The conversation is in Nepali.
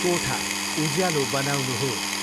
कोठा उज्यालो बनाउनुहोस्।